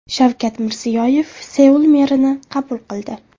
Shavkat Mirziyoyev Seul merini qabul qildi.